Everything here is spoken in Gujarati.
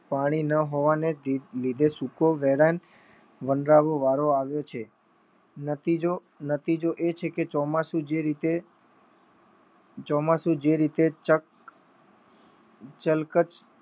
પાણી ન હોવા લીધે સૂકો વેરાન વનરાવની આવ્યો છે નતીજો નતીજો એ છે કે ચોમાસુ જે રીતે ચળકટ